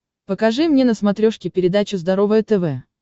покажи мне на смотрешке передачу здоровое тв